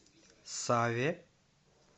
саве